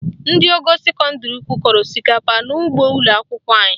Ndị ogo sekọndịrị ukwu kọrọ osikapa n'ụgbọ ụlọakwụkwọ anyị